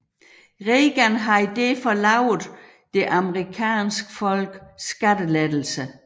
Reagan havde derfor lovet det amerikanske folk skattelettelser